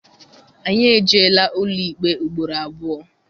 Anyị ejeela ụlọikpe ugboro abụọ.